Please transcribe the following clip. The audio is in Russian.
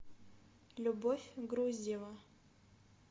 любовь груздева